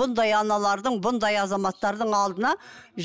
бұндай аналардың бұндай азаматтардың алдына